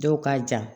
Dɔw ka jan